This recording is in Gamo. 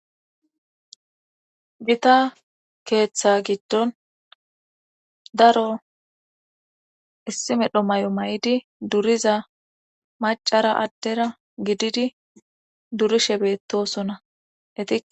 Gita keeththa gido daro issi medho mayo mayidi duriza macara addera gididi durishe beetoosna etika